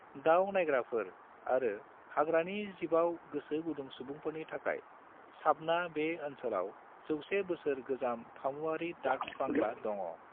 दाव नाइग्राफोर आरो हाग्रानि जिबाव गोसो गुदुं सुबुंफोरनि थाखाय साबना बे ओनसोलाव 100-बोसोर-गोजाम फामुआरि डाक बांग्ला दङ'।